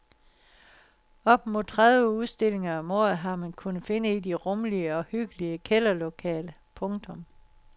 Op mod tredive udstillinger om året har man kunnet finde i de rummelige og hyggelige kælderlokaler. punktum